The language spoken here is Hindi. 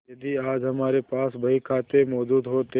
यदि आज हमारे पास बहीखाते मौजूद होते